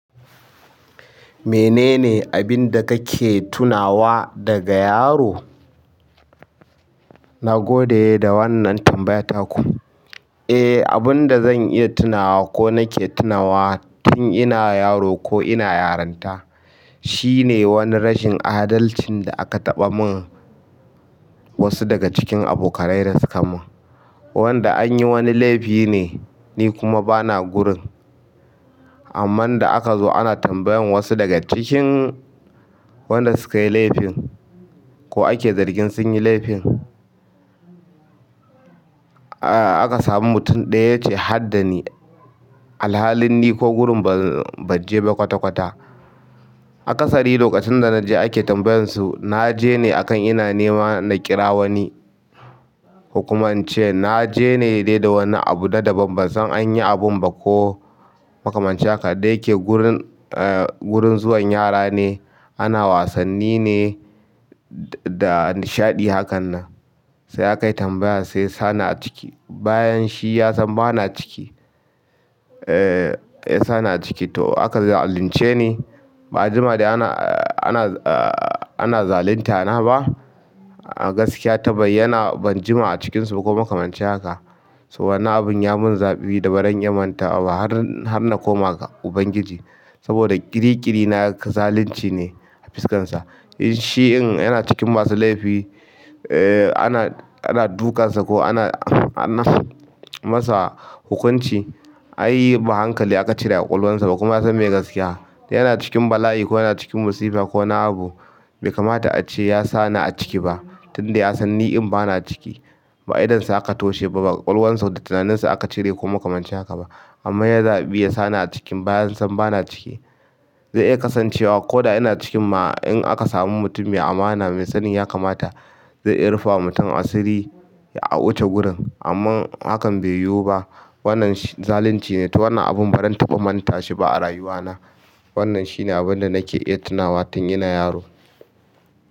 Menene abin da kake tunawa daga yaro? Na gode da wannan tambayar taku. Eh, abin da zan iya tunawa ko nake tunawa tun ina yaro ko ina yaranta shine wani rashin adalcin da aka taɓa min wasu daga cikin abokaina da suka mun. Wanda an yi wani laifi ne, ni kuma bana gurin. Amman da aka zo ana tambayan wasu daga cikin wanda suka yi laifin, ko ake zargin sun yi laifin, aka samu mutum ɗaya ya ce, "har da ni." Alhalin ni ko gurin ban je ba kwata-kwata. Akasari lokacin da na je ake tambayar su, na je ne akan ina neman na kira wani ko kuma in ce na je ne dai da wani abu na daban. Ban san an yi abun ba ko makamanci haka. Da yake gurin, gurin zuwan yara ne, ana wasanni ne da nishaɗi hakan nan. Sai aka yi tambaya, sai yasa ni a ciki. Bayan shi ya san ba na ciki. Sai ya ni a ciki, to aka zalunce ni. Ba a jima da, ana zalunta na ba. Ah, gaskiya ta bayyana, ban jima a cikinsu ba ko makamanci haka. Wannan abun ya mun zafi da ba zan iya mantawa ba har na koma ga Ubangiji. Saboda ƙiri-ƙiri na ga zalunci ne a fuskarsa. Shi in yana cikin masu laifi, ana dukansa ko ana, an masa hukunci, ai ba hankali aka cire a ƙwaƙwalansa ba kuma ya san mai gaskiya. Yana cikin bala'i ko yana cikin musiba ko wani abu, bai kamata a ce ya sa ni a ciki ba, tunda ya san ni in ba na ciki. Ba idonsa aka toshe ba, ba ƙwaƙwalwansa da tunaninsa aka cire ko makamanci haka ba. Amma ya zaɓi ya sa ni a cikin bayi bayan san ba na ciki. Zai iya kasancewa ko da ina cikin ma in aka samu mutum mai amana mai sanin ya kamata zai iya rufa wa mutum asiri a wuce gurin. Amma hakan bai yiwu ba. Wannan zalunci ne. To wannan abun ba zan taɓa manta shi ba a rayuwa na. Wannan shine abin da nake iya tunawa tun ina yaro.